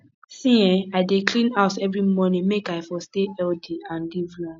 see[um]i dey clean house every morning make i for stay healthy and live long